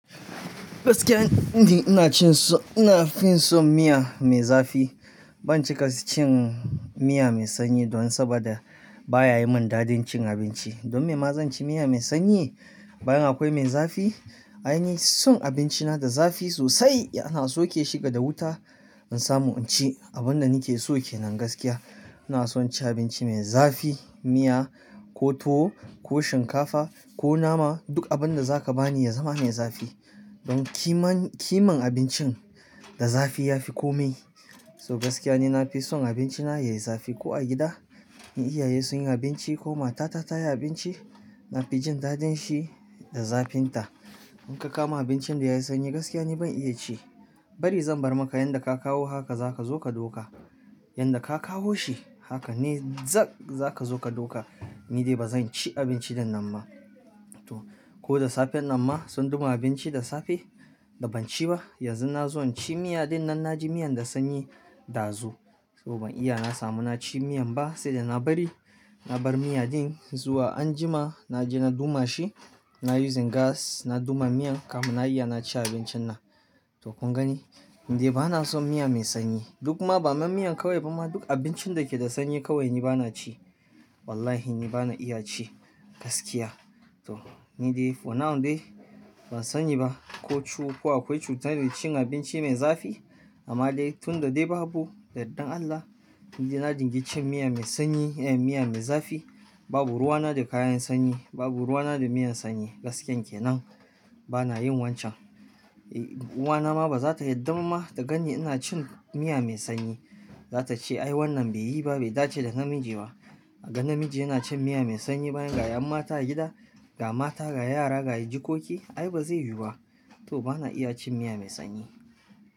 Gaskiya, ni ina cin so-- ina fi son miya mai zafi. Ban cika ci cin miya mai sanyi don saboda baya yi min daɗin cin abinci. Don me ma zan ci miya mai sanyi bayan akwai mai zafi? Ai ni son abinci na da zafi sosai. Ana soke shi ga da wuta, in samu in ci. Abin da nake so ke nan gaskiya, ina son ci abinci mai zafi, miya ko tuwo ko shinkafa ko nama, duk abin da za ka bani ya zama mai zafi. Don kiman, kiman abincin da zafi ya fi komai. So gaskiya ni na fi son abinci na yayi zafi ko a gida in iyaye sun yi abinci ko matata ta yi abinci, na fi jin daɗin shi da zafin ta. In ka kawo abincin da yayi sanyi gaskiya ni ban iya ci. Bari zan bar maka yanda ka kawo haka za ka zo ka dauka. Yanda ka kawo shi haka ne zak-- za ka zo ka ɗauka. Ni dai ba zan ci abinci ɗinnan ma. Ko da safen nan ma sun gama abinci da safe da ban ci ba yanzu na zo in ci miya ɗinnan na ji miyan da sanyi ɗazu. So ban iya na samu na ci miyan ba, sai da na bari, na bar miya din zuwa anjima na je na duma shi. Na yi using gas, na duma miyan kamun na iya na ci abincin na. To kun gani? Ni dai ba na son miya mai sanyi. In kuma bama miyan kawai ba ma, duk abincin da ke da sanyi kawai bana ci Wallahi ni ba na iya ci gaskiya. To ni dai for now dai ban sani ba ko cu-- ko akwai cutar da ke cin abinci mai zafi. Amma dai tun da dai babu, da yardan Allah, ni dai na dinga cin miya mai sanyi, eh, miya mai zafi. Babu ruwa na da kayan sanyi, babu ruwa na da miyan sanyi. Gaskiyan ke nan, bana yin wancan. Eh, uwana ma ba za ta yarda ba ma ta ganni ina cin miya mai sanyi. Za ta ce, "Ai wannan bai yi ba, bai dace da namiji ba. Kaga namiji yana cin miya mai sanyi bayan ga ƴa'ƴan mata a gida, ga mata, ga yara, ga jikoki? Ai ba zai yiwu ba." To bana iya cin miya me sanyi.